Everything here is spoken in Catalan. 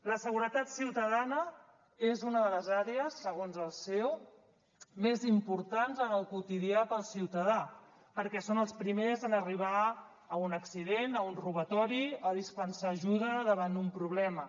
la seguretat ciutadana és una de les àrees segons el ceo més importants en el quotidià per al ciutadà perquè són els primers en arribar a un accident a un robatori o a dispensar ajuda davant un problema